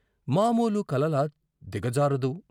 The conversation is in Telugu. మామూలు కలలా దిగజారదు.